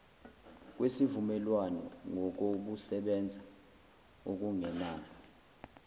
kwesivumelwano ngokokusebenza okungenalo